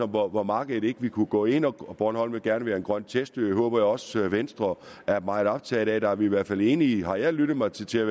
hvor hvor markedet ikke ville kunne gå ind bornholm vil gerne være en grøn test ø og det håber jeg også at venstre er meget optaget af at der er vi i hvert fald enige har jeg lyttet mig til til